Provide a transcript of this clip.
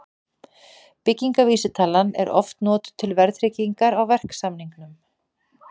Byggingarvísitalan er oft notuð til verðtryggingar á verksamningum.